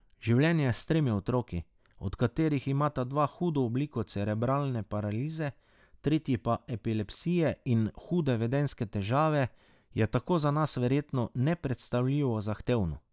Življenje s tremi otroki, od katerih imata dva hudo obliko cerebralne paralize, tretji pa epilepsije in hude vedenjske težave, je tako za nas verjetno nepredstavljivo zahtevno.